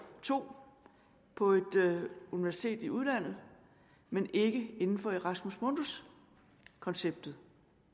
to på et universitet i udlandet men ikke inden for erasmus mundus konceptet